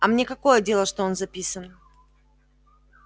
а мне какое дело что он записан